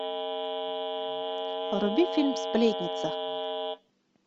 вруби фильм сплетница